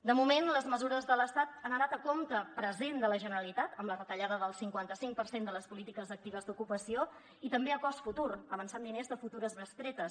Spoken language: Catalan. de moment les mesures de l’estat han anat a compte present de la generalitat amb la retallada del cinquanta cinc per cent de les polítiques actives d’ocupació i també a cost futur avançant diners de futures bestretes